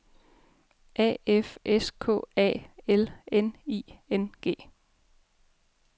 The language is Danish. A F S K A L N I N G